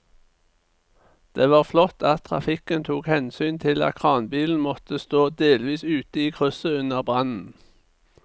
Det var flott at trafikken tok hensyn til at kranbilen måtte stå delvis ute i krysset under brannen.